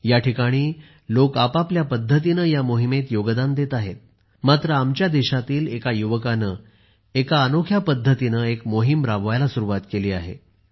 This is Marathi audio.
या ठिकाणी लोक आपापल्या पद्धतीने या मोहिमेत योगदान देत आहेत मात्र आमच्या देशातील एका युवकाने एका अनोख्या पद्धतीने एक मोहीम राबवायला सुरुवात केली आहे